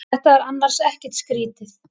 Þetta er annars ekkert skrýtið.